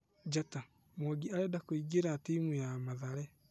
(Njata) Mwangi arenda kũingĩra timu ya Mathare.